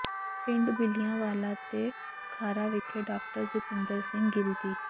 ਪਿੰਡ ਬਿੱਲਿਆਂ ਵਾਲਾ ਤੇ ਖਾਰਾ ਵਿਖੇ ਡਾਕਟਰ ਜਤਿੰਦਰ ਸਿੰਘ ਗਿੱਲ ਦੀ